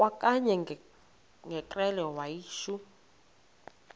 kwakanye ngekrele wayishu